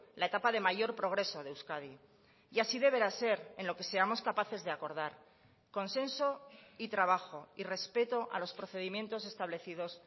la etapa de mayor progreso de euskadi y así deberá ser en lo que seamos capaces de acordar consenso y trabajo y respeto a los procedimientos establecidos